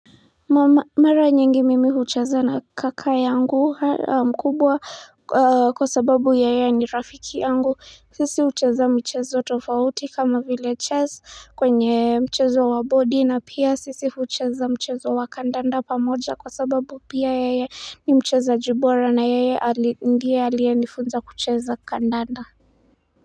Mara nyingi mimi hucheza na kaka yangu mkubwa kwa sababu yeye ni rafiki yangu sisi hucheza mchezo tofauti kama vile chess kwenye mchezo wa bodi na pia sisi hucheza mchezo wa kandanda pamoja kwa sababu pia yeye ni mchezaji bora na yeye ndiye aliyenifunza kucheza kandanda.